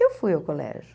Eu fui ao colégio.